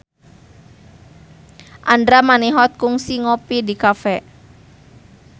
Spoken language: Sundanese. Andra Manihot kungsi ngopi di cafe